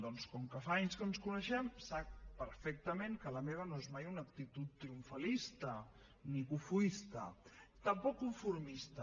doncs com que fa anys que ens coneixem sap perfectament que la meva no és mai una actitud triomfalista ni cofoista tampoc conformista